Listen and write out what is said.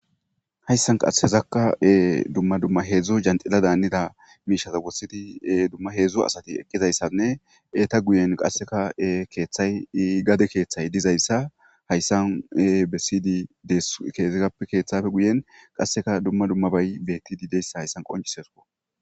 hayssan qashezakka dumma dumma heedzdzo janxila daannida miishaza wossidi dumma heedzdzo asati eqqizayssanne eeta guyen qasseka keeththay i gade keeththay dizayssa hayssane besiydi de keeezappe keeththafe guyen qasseka dumma dummabay betti dideyssa hayssan qoncisesko